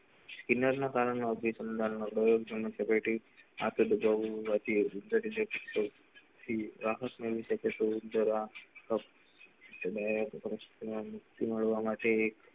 કિનાર ના કારણે આવું બધું રાહત મળી શકે તો જરા મળવા માટે